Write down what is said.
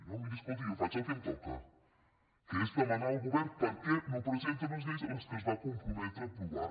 no miri escolti jo faig el que em toca que és demanar al govern per què no presenta unes lleis que es va comprometre a aprovar